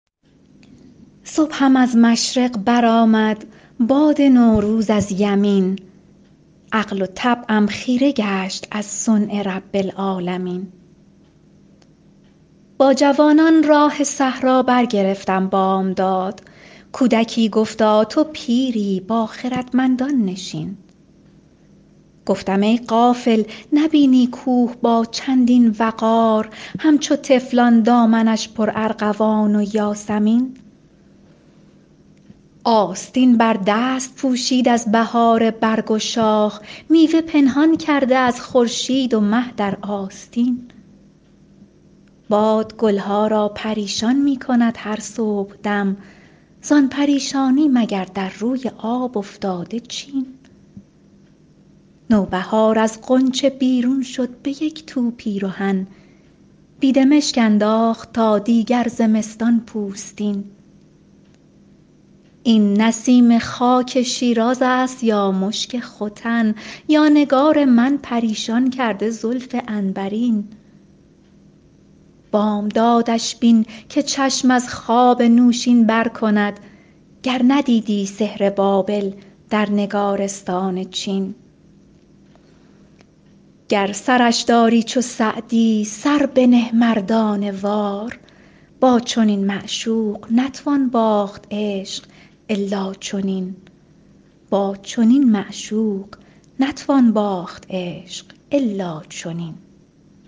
صبحم از مشرق برآمد باد نوروز از یمین عقل و طبعم خیره گشت از صنع رب العالمین با جوانان راه صحرا برگرفتم بامداد کودکی گفتا تو پیری با خردمندان نشین گفتم ای غافل نبینی کوه با چندین وقار همچو طفلان دامنش پرارغوان و یاسمین آستین بر دست پوشید از بهار برگ شاخ میوه پنهان کرده از خورشید و مه در آستین باد گل ها را پریشان می کند هر صبحدم زان پریشانی مگر در روی آب افتاده چین نوبهار از غنچه بیرون شد به یک تو پیرهن بیدمشک انداخت تا دیگر زمستان پوستین این نسیم خاک شیراز است یا مشک ختن یا نگار من پریشان کرده زلف عنبرین بامدادش بین که چشم از خواب نوشین بر کند گر ندیدی سحر بابل در نگارستان چین گر سرش داری چو سعدی سر بنه مردانه وار با چنین معشوق نتوان باخت عشق الا چنین